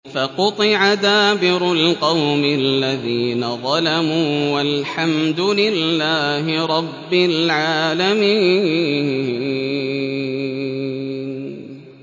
فَقُطِعَ دَابِرُ الْقَوْمِ الَّذِينَ ظَلَمُوا ۚ وَالْحَمْدُ لِلَّهِ رَبِّ الْعَالَمِينَ